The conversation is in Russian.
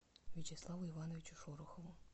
вячеславу ивановичу шорохову